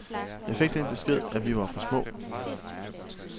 Jeg fik den besked, at vi var for små.